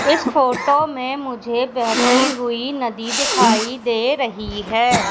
इस फोटो में मुझे बेहती हुई नदी दिखाई दे रही हैं।